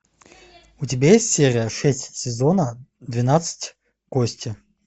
у тебя есть серия шесть сезона двенадцать кости